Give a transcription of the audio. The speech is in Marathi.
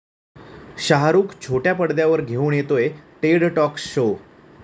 शाहरुख छोट्या पडद्यावर घेऊन येतोय 'टेड टाॅक्स' शो